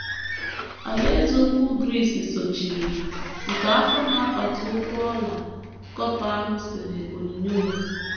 Alaeze Ukwu Gris sochiri, nke afọ na apata ụkwụ ọla copper ahụ sere onyinyo ya.